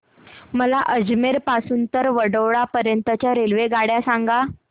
मला अजमेर पासून तर वडोदरा पर्यंत च्या रेल्वेगाड्या सांगा